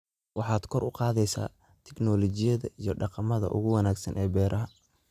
waxaad kor u qaadaysaa tignoolajiyada iyo dhaqamada ugu wanaagsan ee beeraha.